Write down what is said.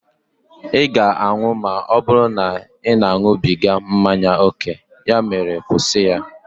ị ga-anwụ ma ọ bụrụ na ị na-aṅụbiga mmanya ókè, ya mere kwụsị ya!